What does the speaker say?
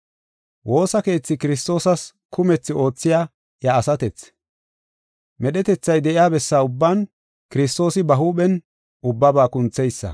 Woosa keethi Kiristoosa kumethi oothiya iya asatethi. Medhetethay de7iya bessa ubban Kiristoosi ba huuphen ubbaba kuntheysa.